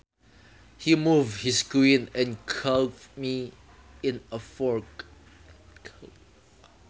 He moved his queen and caught me in a fork